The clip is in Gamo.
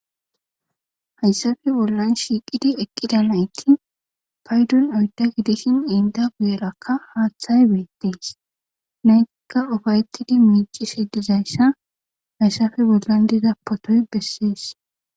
hayssafe bollan shiiqidi eqqida nayti paydun oydda gidishin inda guyerakka haaththay beettees naytikka ufayetidi miici sheddizayssa hayssafe bollan dida potoy bessees